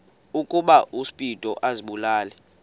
ukuba uspido azibulale